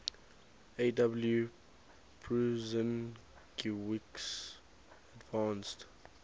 aw prusinkiewicz advanced